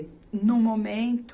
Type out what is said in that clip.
No momento,